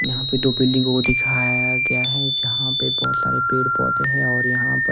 यहां पे दो बिल्डिंग को दिखाया गया है जहां पे बहुत सारे पेड़ पौधे हैं और यहां पर--